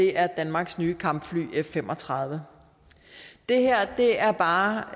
er danmarks nye kampfly f fem og tredive det her er bare